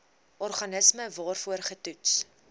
organisme waarvoor getoets